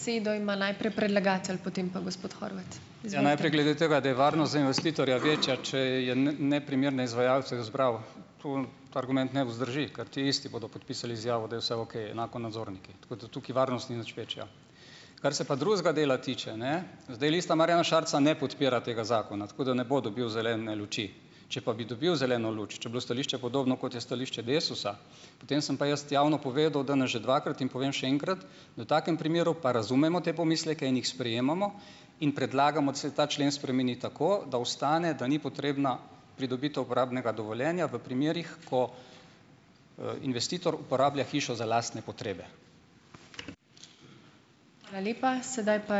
Ja, najprej glede tega, da je varnost za investitorja večja, če je neprimerne izvajalce izbral. Tu argument ne vzdrži, ker ti isti bodo podpisali izjavo, da je vse okej, enako nadzorniki. Tako da tukaj varnost ni nič večja. Kar se pa drugega dela tiče, ne, zdaj Lista Marjana Šarca ne podpira tega zakona, tako da ne bo dobil zelene luči, če pa bi dobil zeleno luč, če bi bilo stališče podobno, kot je stališče Desusa, potem sem pa jaz javno povedal danes že dvakrat in povem še enkrat, da v takem primeru pa razumemo te pomisleke in jih sprejemamo in predlagamo, da se ta člen spremeni tako, da ostane, da ni potrebna pridobitev uporabnega dovoljenja v primerih, ko, investitor uporablja hišo za lastne potrebe.